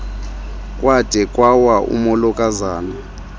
kwade kwawa umolokazana